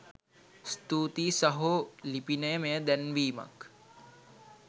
ස්තුතියි සහෝ ලිපිනය මෙය දැන්වීමක්